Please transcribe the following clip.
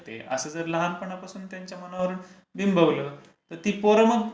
असं जर लहानपणापासून त्यांच्या मनावर बिंबवलं तर ती पोरं मग